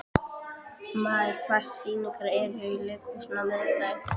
Maj, hvaða sýningar eru í leikhúsinu á miðvikudaginn?